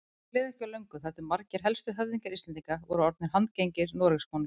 Því leið ekki á löngu þar til margir helstu höfðingjar Íslendinga voru orðnir handgengnir Noregskonungi.